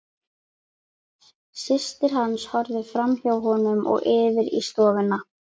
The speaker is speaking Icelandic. Systir hans horfði framhjá honum og yfir í stofuna.